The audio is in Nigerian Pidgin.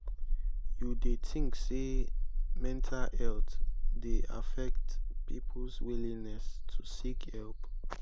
you dey think say mental health dey affect people's willingness to seek help?